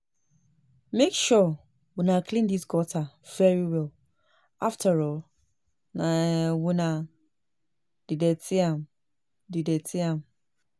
Make sure una clean dis gutter very well afterall na una dey dirty am dey dirty am